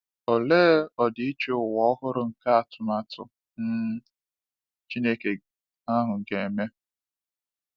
Olee ọdịiche ụwa ọhụrụ nke atụmatụ um Chineke ahụ ga-eme!